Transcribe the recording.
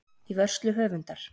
Í vörslu höfundar.